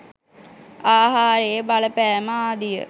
ආහාරයේ බලපෑම ආදිය